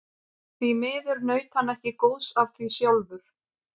Því miður naut hann ekki góðs af því sjálfur.